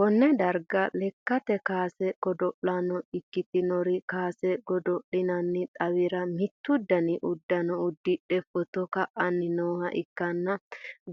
konne darga lekkate kaase godo'lanno ikkitinori, kaase godo'linanni xawira mittu dani uddano uddidhe footo ka'anni nooha ikkanna,